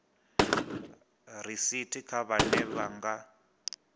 risithi kha vhane vha nga